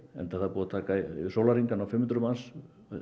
enda er það búið að taka sólarhring að ná fimm hundruð manns